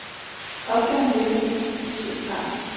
Opgaven lykkedes i betydelig grad.